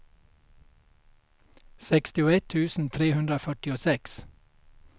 sextioett tusen trehundrafyrtiosex